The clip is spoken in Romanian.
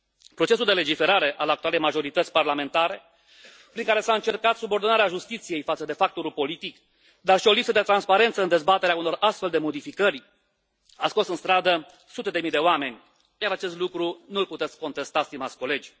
Procesul de legiferare al actualei majorități parlamentare prin care s a încercat subordonarea justiției față de factorul politic, dar și o lipsă de transparență în dezbaterea unor astfel de modificări a scos în stradă sute de mii de oameni, iar acest lucru nu l puteți contesta, stimați colegi.